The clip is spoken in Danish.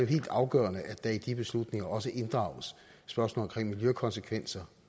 helt afgørende at der i de beslutninger også inddrages spørgsmålet om miljøkonsekvenser